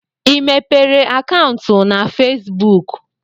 I mepere akantu na fesibuk?